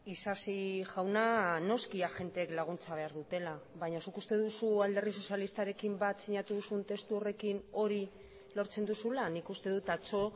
isasi jauna noski agenteek laguntza behar dutela baina zuk uste duzu alderdi sozialistarekin bat sinatu duzun testu horrekin hori lortzen duzula nik uste dut atzo